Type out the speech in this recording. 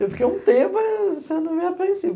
Eu fiquei um tempo, mas você não me